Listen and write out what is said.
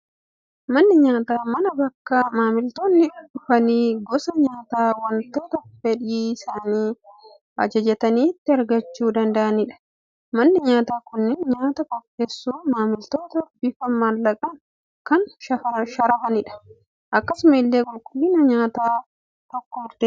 Manni nyaataa, mana bakka maamiltoonni dhufanii gosa nyaataa waanta fedhii isaanii ajajatanii itti argachuu danda'anidha. Manni nyaataa kunneen nyaata qopheessuun, maamiltootatti bifa maallaqaan kan sharafanidha . Akkasuma illee qulqulliinni mana nyaataa tokkoo murteessaadha.